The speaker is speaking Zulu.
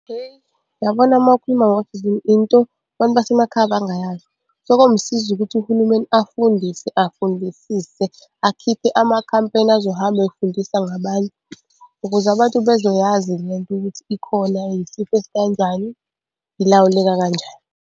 Hheyi, uyabona uma ukhuluma into abantu basemakhaya abangayazi. So, komsiza ukuthi uhulumeni afundise afundisise, akhiphe amakhampeyni azohambe efundisa ngabantu, ukuze abantu bezoyazi le nto ukuthi ikhona yisifo esikanjani, ilawuleka kanjani.